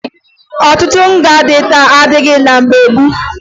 Ọtụtụ nga dị taa adịbughi na mgbe gboo